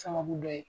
Sababu dɔ ye